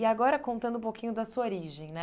E agora contando um pouquinho da sua origem, né?